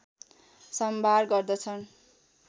सम्भार गर्दछन्